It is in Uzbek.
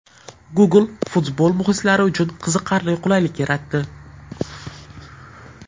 Google futbol muxlislari uchun qiziqarli qulaylik yaratdi.